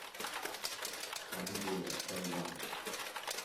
пангея элван